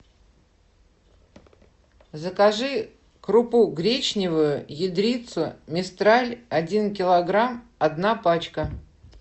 закажи крупу гречневую ядрица мистраль один килограмм одна пачка